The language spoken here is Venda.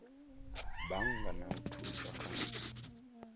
bannga na u thusa kha